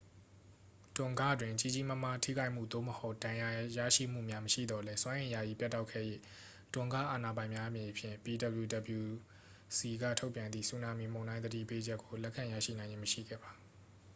တွန်ဂ တွင် ကြီးကြီးမားမား ထိခိုက်မှု သို့မဟုတ် ဒဏ်ရာရမှုများ မရှိသော်လည်း စွမ်းအင် ယာယီ ပြတ်တောက်ခဲ့၍ tonga အာဏာပိုင်များအနေဖြင့် ptwc က ထုတ်ပြန်သည့် ဆူနာမီမုန်တိုင်း သတိပေးချက်ကို လက်ခံရရှိနိုင်ခြင်း မရှိခဲ့ပါ